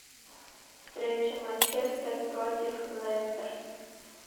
встреча манчестер против лестер